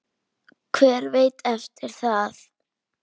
Hver veit eftir það?